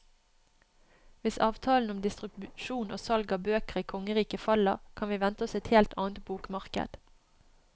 Hvis avtalen om distribusjon og salg av bøker i kongeriket faller, kan vi vente oss et helt annet bokmarked.